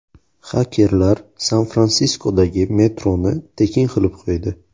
Xakerlar San-Fransiskodagi metroni tekin qilib qo‘ydi.